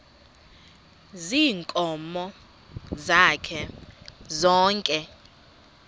ziinkomo zakhe zonke